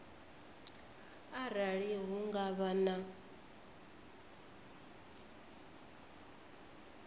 arali hu nga vha na